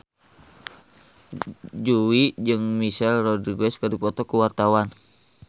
Jui jeung Michelle Rodriguez keur dipoto ku wartawan